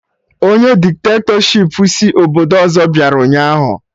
Ọnye dikitatọshipụ si obodo ọzọ bịara ụnyaahụ